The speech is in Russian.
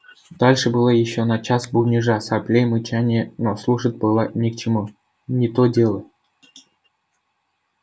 дальше было ещё на час бубнежа соплей мычания но слушать было ни к чему не то дело